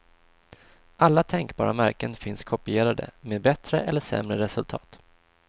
Alla tänkbara märken finns kopierade, med bättre eller sämre resultat.